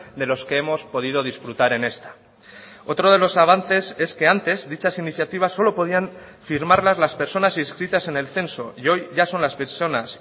de los que hemos podido disfrutar en esta otro de los avances es que antes dichas iniciativas solo podían firmarlas las personas inscritas en el censo y hoy ya son las personas